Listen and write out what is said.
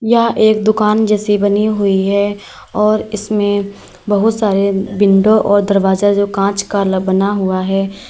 यह एक दुकान जैसी बनी हुई है और इसमें बहुत सारे विंडो और दरवाजा जो कांच का बना हुआ है।